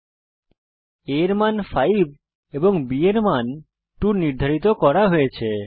a এর মান 5 এবং b এর মান 2 নির্ধারিত করা হয়েছে